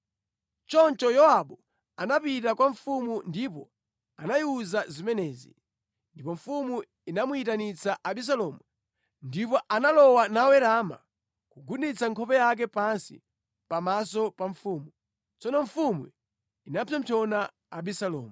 Choncho Yowabu anapita kwa mfumu ndipo anayiwuza zimenezi. Ndipo mfumu inamuyitanitsa Abisalomu, ndipo analowa nawerama kugunditsa nkhope yake pansi pamaso pa mfumu. Tsono mfumu inapsompsona Abisalomu.